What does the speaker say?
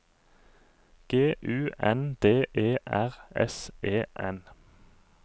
G U N D E R S E N